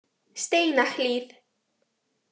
Steinahlíð